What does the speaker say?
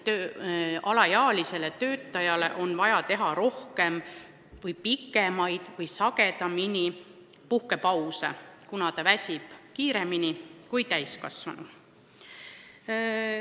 Alaealisel töötajal võib olla vaja teha ka rohkem, pikemaid või sagedamini puhkepause, kuna ta väsib kiiremini kui täiskasvanu.